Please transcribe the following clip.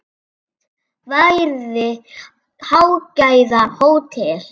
Byggt verði hágæða hótel.